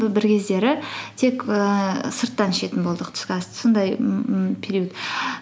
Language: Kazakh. бір кездері тек ііі сырттан ішетін болдық түскі асты сондай ммм период